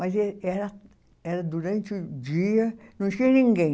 Mas eh, era era durante o dia, não tinha ninguém.